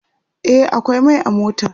e akwai Mai a motar